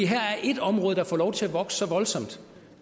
her er ét område der får lov til at vokse så voldsomt